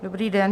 Dobrý den.